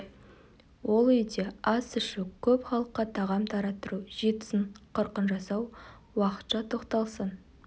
ол үйде ас ішу көп халыққа тағам тараттыру жетісін қырқын жасау уақытша тоқталсын